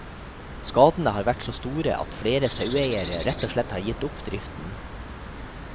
Skadene har vært så store at flere saueeiere rett og slett har gitt opp driften.